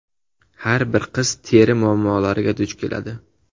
Har bir qiz teri muammolariga duch keladi.